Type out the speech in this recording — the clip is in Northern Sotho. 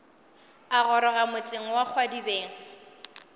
a goroga motseng wa kgwadibeng